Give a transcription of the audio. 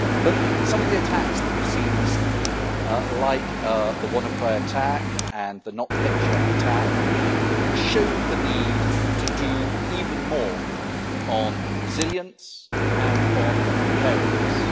However, some of the attacks that we have seen recently, like the WannaCry' attack and the Not Petya' attack, showed the need to do even more on resilience and on preparedness.